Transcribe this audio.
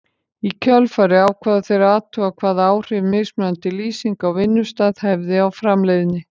Í kjölfarið ákváðu þeir að athuga hvaða áhrif mismunandi lýsing á vinnustað hefði á framleiðni.